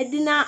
ɛdini a